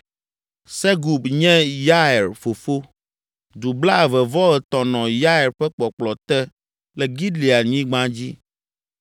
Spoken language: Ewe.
Segub nye Yair fofo. Du blaeve-vɔ-etɔ̃ nɔ Yair ƒe kpɔkplɔ te le Gileadnyigba dzi.